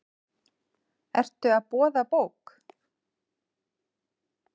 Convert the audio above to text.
Ertu að boða bók?